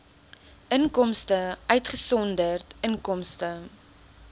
inkomste uitgesonderd inkomste